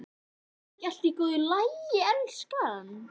Er ekki allt í góðu lagi, elskan?